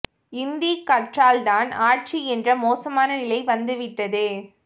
இந்தி கற்றால்தான் ஆச்சு என்ற மோசமான நிலை வந்து விட்டது